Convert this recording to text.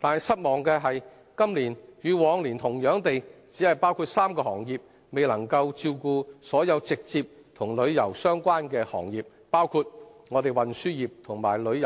但是，失望的是今年與往年同樣只包括3個行業，未能照顧所有直接與旅遊相關的行業，包括運輸業如旅